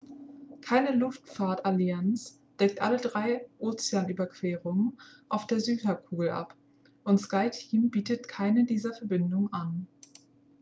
keine luftfahrtallianz deckt alle drei ozeanüberquerungen auf der südhalbkugel ab und skyteam bietet keine dieser verbindungen an